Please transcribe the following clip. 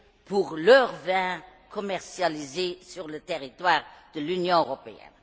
pour leurs vins commercialisés sur le territoire de l'Union européenne.